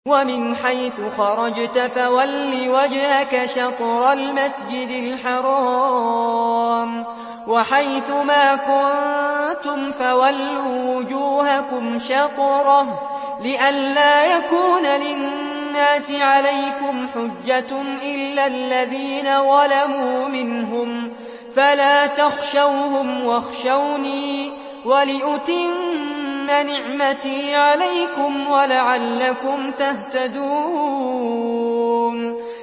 وَمِنْ حَيْثُ خَرَجْتَ فَوَلِّ وَجْهَكَ شَطْرَ الْمَسْجِدِ الْحَرَامِ ۚ وَحَيْثُ مَا كُنتُمْ فَوَلُّوا وُجُوهَكُمْ شَطْرَهُ لِئَلَّا يَكُونَ لِلنَّاسِ عَلَيْكُمْ حُجَّةٌ إِلَّا الَّذِينَ ظَلَمُوا مِنْهُمْ فَلَا تَخْشَوْهُمْ وَاخْشَوْنِي وَلِأُتِمَّ نِعْمَتِي عَلَيْكُمْ وَلَعَلَّكُمْ تَهْتَدُونَ